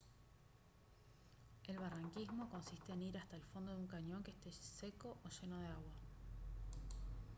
el barranquismo consiste en ir hasta el fondo de un cañón que esté seco o lleno de agua